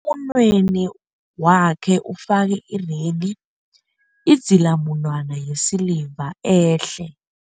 Emunweni wakhe ufake irenghi, idzilamunwana yesiliva ehle.